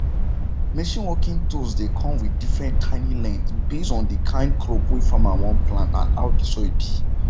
machine working tools dey come with different tiny length based on the kind crop wey farmer wan plant and how the soil be